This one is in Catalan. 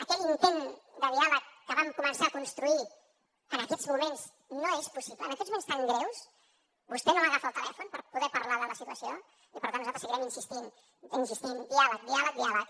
aquell intent de diàleg que vam començar a construir en aquests moments no és possible en aquests moments tan greus vostè no m’agafa el telèfon per poder parlar de la situació i per tant nosaltres seguirem insistint insistint diàleg diàleg diàleg